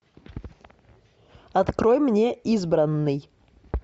открой мне избранный